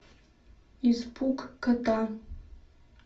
испуг кота